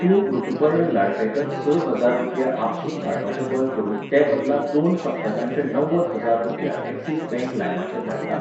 तूं ऋतुपर्ण लाडफॅकर स हजार रुपया आपसूक धाडपाचें बंद करून तेबदला दोन सप्तकांचे णव्वद हजार रुपया एक्सिस बँक लायमाचेर धाडटा?